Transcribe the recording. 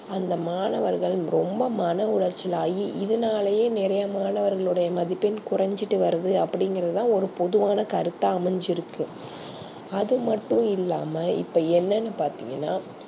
அந்த மாணவர்கள் ரொம்ப மண ஓலைச்சல் ஆயி இதுனாளையே நெறைய மாணவர்லோட மதிப்பெண் கோரஞ்சிட்டு வருது அப்டி இங்கர்தா ஒரு பொதுவான கருத்தா அமைஞ்சியிருக்க அது மட்டும் இல்லாம இப்போ என்னனு பாத்திங்கனா